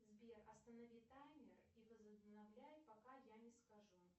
сбер останови таймер и возобновляй пока я не скажу